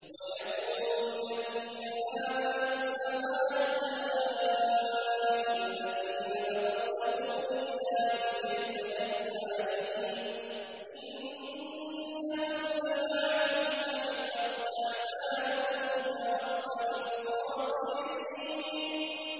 وَيَقُولُ الَّذِينَ آمَنُوا أَهَٰؤُلَاءِ الَّذِينَ أَقْسَمُوا بِاللَّهِ جَهْدَ أَيْمَانِهِمْ ۙ إِنَّهُمْ لَمَعَكُمْ ۚ حَبِطَتْ أَعْمَالُهُمْ فَأَصْبَحُوا خَاسِرِينَ